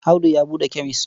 Audu ya buɗe kemes.